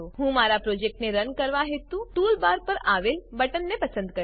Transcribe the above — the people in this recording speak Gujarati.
હું મારા પ્રોજેક્ટને રન કરવા હેતુ ટૂલબાર પર આવેલ બટનને પસંદ કરીશ